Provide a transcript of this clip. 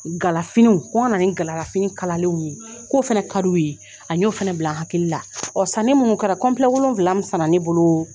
Galafiniw ko n ka na ni galalafini kalalenw ye k'o fana ka d'u ye a n y'o fana bila n hakili la ɔ sanni mun kɛra wolonwula mun sanna ne bolo.